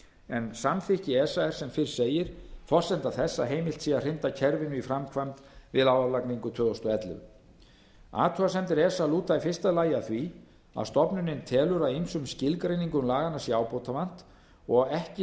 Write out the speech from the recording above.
en samþykki esa er sem fyrr segir forsenda þess að heimilt sé að hrinda kerfinu í framkvæmd við álagningu tvö þúsund og ellefu athugasemdir esa lúta í fyrsta lagi að því að stofnunin telur að ýmsum skilgreiningum laganna sé ábótavant og ekki